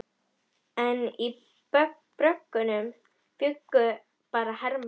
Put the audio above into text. Eftir þetta fækkaði fjölskylduferðunum í fínustu listmunabúðir landsins.